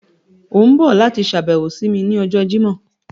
O n bọ lati ṣabẹwo si mi ni ọjọ Jimọ